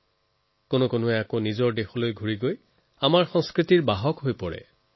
আকৌ বহু লোকে নিজৰ দেশলৈ ঘূৰি গৈ এই সংস্কৃতিৰ বাহক হৈ পৰে